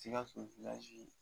Sigaso